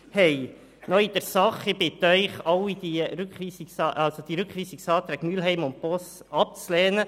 Nun zur Sache: Ich bitte Sie, die Rückweisungsanträge Mühlheim und Boss abzulehnen.